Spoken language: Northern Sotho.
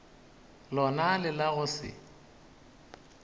lona le la go se